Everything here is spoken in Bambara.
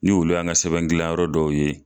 Ni ulu y'an ka sɛbɛn gilan yɔrɔ dɔw ye.